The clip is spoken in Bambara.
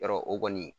Yɔrɔ o kɔni